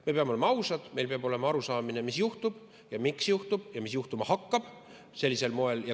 Me peame olema ausad, meil peab olema arusaamine, mis juhtub ja miks juhtub ja mis juhtuma hakkab sellisel moel.